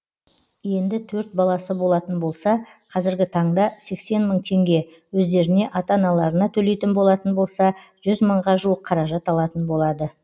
енді төрт баласы болатын болса қазіргі таңда сексен мың теңге өздеріне ата аналарына төлейтін болатын болса жүз мыңға жуық қаражат алатын болады